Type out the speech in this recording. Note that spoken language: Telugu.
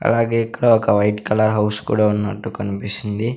అలాగే ఇక్కడ ఒక వైట్ కలర్ హౌస్ కూడా ఉన్నట్టు కనిపిస్తుంది.